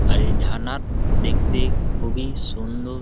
আর এই ঝাড়না ত দেখতে খুব এই সুন্দর ।